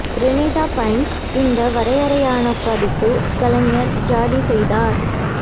ரெனிட பைன்ஸ் இந்த வரையறையான பதிப்பு கலைஞர் ஜாடி செய்தார்